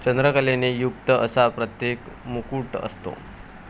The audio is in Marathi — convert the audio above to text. चंद्रकलेने युक्त असा प्रत्येक मुकुट असतो.